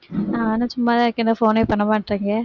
நானும் சும்மாதான் இருக்கேன் என்ன phone ஏ பண்ணமாட்டேன்றீங்க?